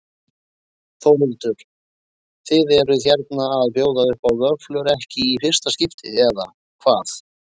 Þórhildur: Þið eruð hérna að bjóða upp á vöfflur, ekki í fyrsta skipti eða hvað?